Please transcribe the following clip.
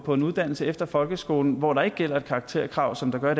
på en uddannelse efter folkeskolen hvor der ikke gælder et karakterkrav som der gør